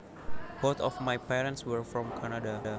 Both of my parents were from Canada